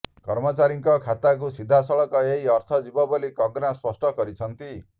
କର୍ମଚାରୀଙ୍କ ଖାତାକୁ ସିଧାସଳଖ ଏହି ଅର୍ଥ ଯିବ ବୋଲି କଙ୍ଗନା ସ୍ପଷ୍ଟ କରିଛନ୍ତି